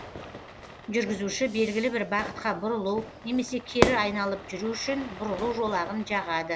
жүргізуші белгілі бір бағытқа бұрылу немесе кері айналып жүру үшін бұрылу жолағын жағады